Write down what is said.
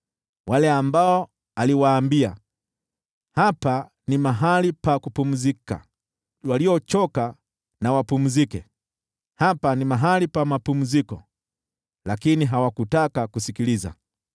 wale ambao aliwaambia, “Hapa ni mahali pa kupumzika, waliochoka na wapumzike,” na, “Hapa ni mahali pa mapumziko,” lakini hawakutaka kusikiliza.